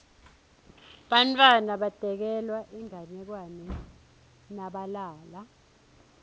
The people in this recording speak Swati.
bantfwana batekelwa inganekwane nabalala